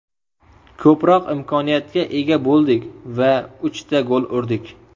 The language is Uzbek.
Ko‘proq imkoniyatga ega bo‘ldik va uchta gol urdik.